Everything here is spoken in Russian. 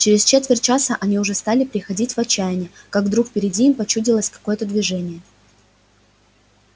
через четверть часа они уже стали приходить в отчаяние как вдруг впереди им почудилось какое-то движение